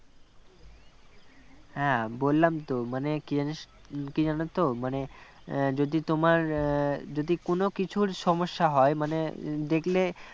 হ্যাঁ বললাম তো মানে কি জানিস কি জানো তো মানে যদি তোমার যদি কোনও কিছুর সমস্যা হয় মানে দেখলে